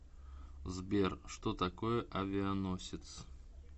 сбер что такое авианосец